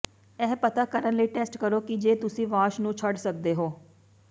ਇਹ ਪਤਾ ਕਰਨ ਲਈ ਟੈਸਟ ਕਰੋ ਕਿ ਜੇ ਤੁਸੀਂ ਵਾਸ਼ ਨੂੰ ਛੱਡ ਸਕਦੇ ਹੋ